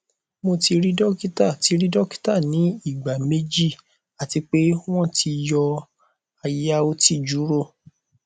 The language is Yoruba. mo ti ri dokita ti ri dokita ni igba meji ati pe wọn ti yọ aya uti juro